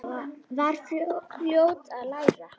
Var fljót að læra.